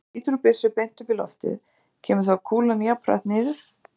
Ef maður skýtur úr byssu beint upp í loftið, kemur þá kúlan jafn hratt niður?